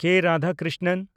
ᱠᱮ. Radhakrishnan